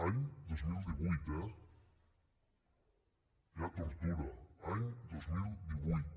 anys dos mil divuit eh hi ha tortura any dos mil divuit